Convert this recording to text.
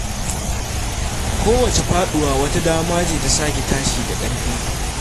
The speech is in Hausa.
Kowace faduwa wata dama ce ta sake tashi da ƙarfi.